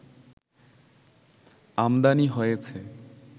আমদানি হয়েছে